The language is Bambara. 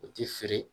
U ti fili